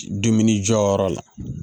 Dumuni jɔyɔrɔ la